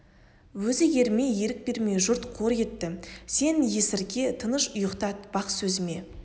өзі ермей ерік бермей жұрт қор етті сен есірке тыныш ұйықтат бақ сөзіме